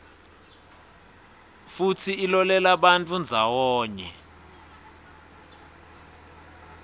futsi ilolelabantfu ndzawonye